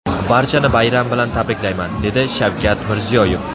Barchani bayram bilan tabriklayman”, dedi Shavkat Mirziyoyev.